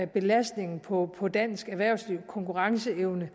belastningen på på dansk erhvervsliv og konkurrenceevnen